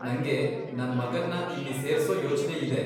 ನಂಗೆ ನನ್ ಮಗನ್ನ ಇಲ್ಲಿ ಸೇರ್ಸೋ ಯೋಚ್ನೆ ಇದೆ.